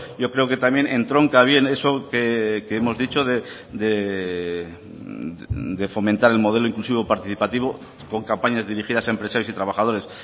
yo creo que también entronca bien eso que hemos dicho de fomentar el modelo inclusivo participativo con campañas dirigidas a empresarios y trabajadores